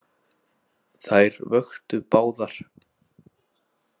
Þær vöktu báðar.